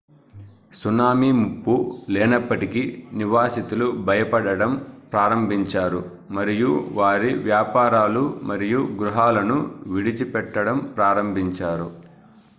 tsunami ముప్పు లేనప్పటికీ నివాసితులు భయపడటం ప్రారంభించారు మరియు వారి వ్యాపారాలు మరియు గృహాలను విడిచిపెట్టడం ప్రారంభించారు